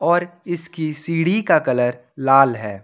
पर इसकी सीढ़ी का कलर लाल है।